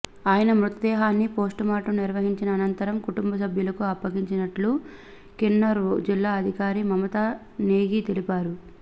ఆయన మృతదేహాన్ని పోస్టుమార్టం నిర్వహించిన అనంతరం కుటుంబసభ్యులకు అప్పగించినట్లు కిన్నౌర్ జిల్లా అధికారి మమతా నేగి తెలిపారు